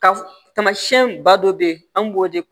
Ka tamasiyɛn ba dɔ bɛ yen an b'o de